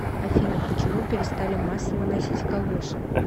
афина почему перестали массово носить калоши